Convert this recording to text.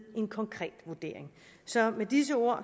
en konkret vurdering så med disse ord